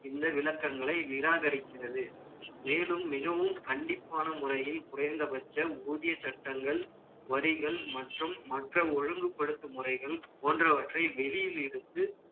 இந்த விளக்கங்களை நிராகரிக்கிறது. மேலும், மிகவும் கண்டிப்பான முறையில், குறைந்தபட்ச ஊதிய சட்டங்கள்வரிகள் மற்றும் மற்ற ஒழுங்குபடுத்தும் முறைகள் போன்றவற்றை வெளியில் எடுத்து,